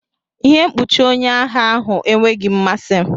Ihe mkpuchi onye agha ahụ enweghị m mmasị.